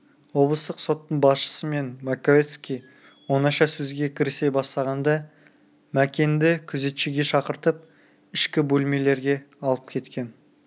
облыстық соттың басшысы мен маковецкий оңаша сөзге кірісе бастағанда мәкенді күзетшіге шақыртып ішкі бөлмелерге алып кеткен